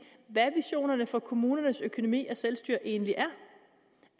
hvad visionerne for kommunernes økonomi og selvstyre egentlig er